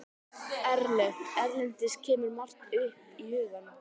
Erlent: Erlendis kemur margt upp í hugann.